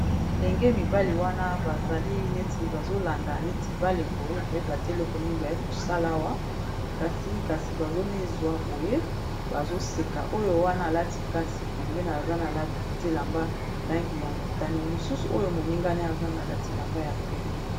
bilenge mibale wana bazali neti bazolanda neti bale boye koyeba te eloko nini baye kosala awa kasi kasi bazomizwa boye bazoseka oyo wana alati kasi pembee aza na lati lamba langi ya motane mosusu oyo moningane aza na lati lamba ya pembe